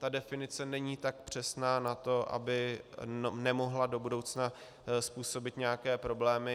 Ta definice není tak přesná na to, aby nemohla do budoucna způsobit nějaké problémy.